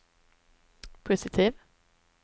positiv